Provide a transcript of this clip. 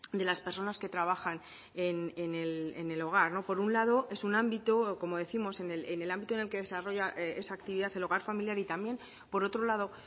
de las personas que trabajan en el hogar por un lado es un ámbito o como décimos en el ámbito en el que desarrolla esa actividad el hogar familiar y también por otro lado